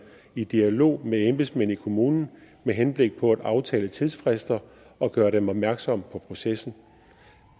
i dialog med embedsmænd i kommunen med henblik på at aftale tidsfrister og gøre dem opmærksom på processen